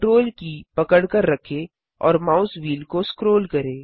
CTRL की पकड़कर रखें और माउस व्हील को स्क्रोल करें